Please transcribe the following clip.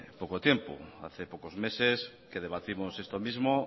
poco tiempo hace pocos meses que debatimos esto mismo